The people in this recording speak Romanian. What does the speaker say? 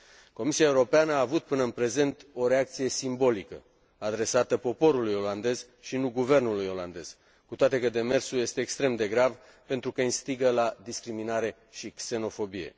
Comisia Europeană a avut până în prezent o reacție simbolică, adresată poporului olandez, și nu guvernului olandez, cu toate că demersul este extrem de grav, pentru că instigă la discriminare și xenofobie.